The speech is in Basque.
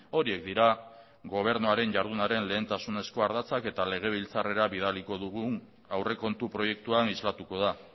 horiek dira gobernuaren jardunaren lehentasunezko ardatzak eta legebiltzarrera bidaliko dugun aurrekontu proiektuan islatuko da